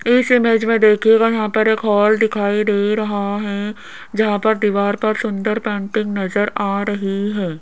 इस इमेज में देखिएगा वहां पर एक हाल दिखाई दे रहा है जहां पर दीवार पर सुंदर पेंटिंग नजर आ रही है।